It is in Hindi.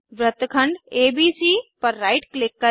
वृत्तखंड एबीसी पर राइट क्लिक करें